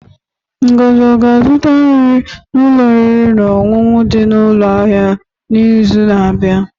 Ngozi ọ ga-azụta nri n'ụlọ oriri na ọṅụṅụ di na ụlọ ahịa n'izu na-abịa?